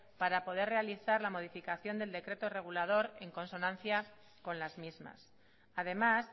para poder realizar la modificación del decreto regulador en consonancia con las mismas además